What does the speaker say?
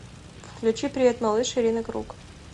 включи привет малыш ирина круг